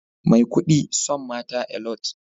Maikudi son mata Alot